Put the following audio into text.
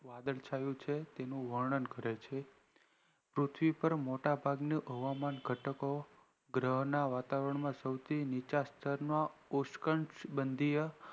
વાદળ છાયુ છે એનું વર્ણન કરે છે પૃથ્વી પર મોટા ભાગના હવામાન ઘટકો ગ્રહણ ના વાતાવરણ માં સૌથી નીચા સ્તરમાં ઓશકન